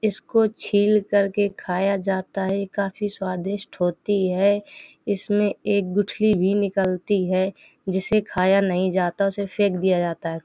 इसको छिलकर के खाया जाता है। ये काफी स्वादिष्ट होती है। इसमें एक गुठली भी निकलती है जिसे खाया नहीं जाता उसे फेंक दिया जाता है।